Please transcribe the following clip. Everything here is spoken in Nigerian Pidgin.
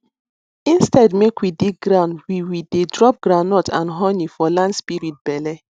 instead make we dig ground we we dey drop groundnut and honey for land spirit belle